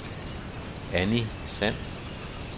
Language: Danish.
Annie Sand